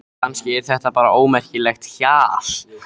Kannski er þetta bara ómerkilegt hjal.